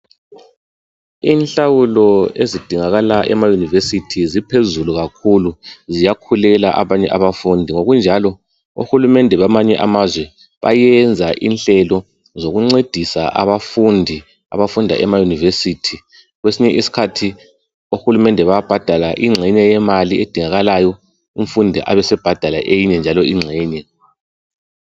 Inhlawulo ezidingakala emayunivesithi ziphezulu kakhulu ziyakhulela abanye abafundi. Ngokunjalo ohulumende bamanye amazwe bayenza inhlelo zokuncedisa abafundi abafunda emayunivesithi. Kwesinye isikhathi ohulumende bayabhadala ingxenye yemali edingakalayo umfundi abesebhadala eyinye njalo ingxenye.